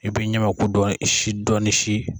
I bɛ ɲamaku dɔɔni si.